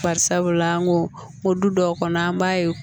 Bari sabula an ko o du dɔw kɔnɔ an b'a ye